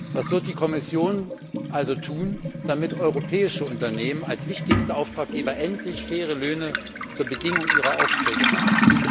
Was wird die Kommission also tun, damit europäische Unternehmen als wichtigste Auftraggeber endlich faire Löhne zur Bedingung ihrer Aufträge machen?